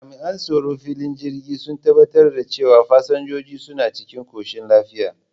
Jami'an tsaron filin jirgin sun tabbatar da cewa fasinjojin suna cikin koshin lafiya.